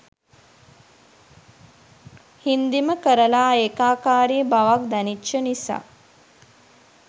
හින්දිම කරලා ඒකාකාරී බවක් දැනිච්ච නිසා